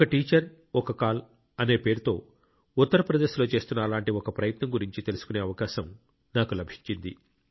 ఒక టీచర్ఒక కాల్ అనే పేరుతో ఉత్తరప్రదేశ్లో చేస్తున్న అలాంటి ఒక ప్రయత్నం గురించి తెలుసుకునే అవకాశం నాకు లభించింది